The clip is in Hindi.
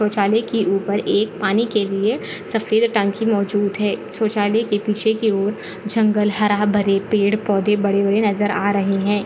शोचलाए के ऊपर एक पानी के लिए सफ़ेद टंकी मौजूद है शोचलाय के पीछे की और जंगल हारा भरे पेड़ पौधे बड़े बड़े नजर आ रहे है।